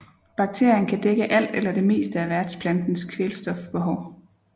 Bakterien kan dække alt eller det meste af værtplantens kvælstofbehov